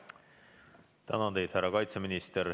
Tänan teid, härra kaitseminister!